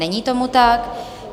Není tomu tak.